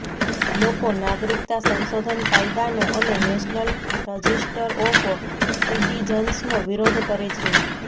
લોકો નાગરિકતા સંશોધન કાયદાનો અને નેશનલ રજિસ્ટર ઑફ સિટિઝન્સનો વિરોધ કરે છે